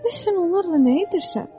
Bəs sən onlarla nə edirsən?